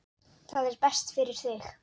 Það er best fyrir þig.